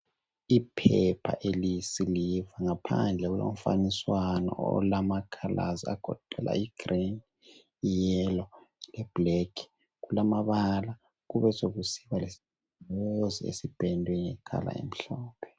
Iphepha eliyisiliva ngaphandle kulomfanekiso olamacolours agoqela igrey, iyellow leblack. Kulamabala kubesokusiba lesigombolozi esipendwe ngecolour emhlophe.